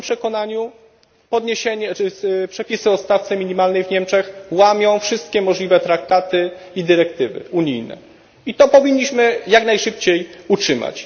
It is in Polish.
W moim przekonaniu przepisy o stawce minimalnej w Niemczech łamią wszystkie możliwe traktaty i dyrektywy unijne i to powinniśmy jak najszybciej utrzymać.